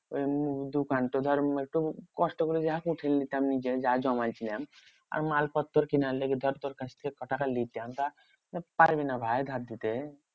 ওই দোকান ধর একটু কষ্ট করে যা উঠাই নিতাম নিজের যা জমাই ছিলাম। আর মালপত্র কিনার লাগে ধর তোর কাছ থেকে ক টাকা নিতাম। তা পারবি না ভাই ধার দিতে?